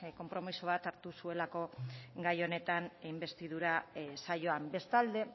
konpromiso bat hartu zuelako gai honetan inbestidura saioan bestalde